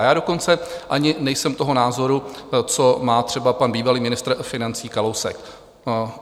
A já dokonce ani nejsem toho názoru, co má třeba pan bývalý ministr financí Kalousek.